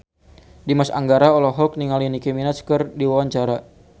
Dimas Anggara olohok ningali Nicky Minaj keur diwawancara